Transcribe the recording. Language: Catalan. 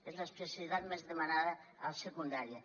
és l’especialitat més demanada a secundària